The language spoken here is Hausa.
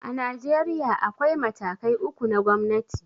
A Najeriya, akwai matakai uku na gomnati.